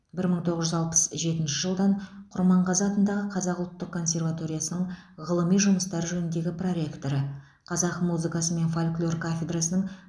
бір мың тоғыз жүз алпыс жетінші жылдан құрманғазы атындағы қазақ ұлттық консерваториясының ғылыми жұмыстар жөніндегі проректоры қазақ музыкасы мен фольклор кафедрасының